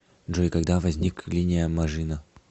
джой когда возник линия мажино